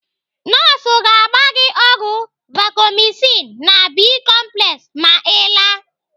Nọọsụ ga-agba gị ọgwụ Vacomycin na Bi-complex ma Ị laa.